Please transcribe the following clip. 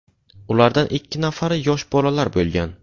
Ulardan ikki nafari yosh bolalar bo‘lgan.